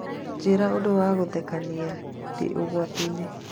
njĩĩra ũndũ wa gũthekania ndĩ ũgwati-inĩ.